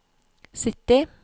sytti